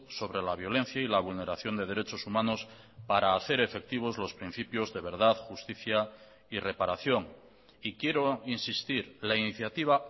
sobre la violencia y la vulneración de derechos humanos para hacer efectivos los principios de verdad justicia y reparación y quiero insistir la iniciativa